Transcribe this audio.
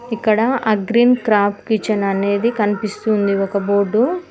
ఇక్కడ Agreen Craft Kitchen అనేది కనిపిస్తుంది ఒక బోర్డు .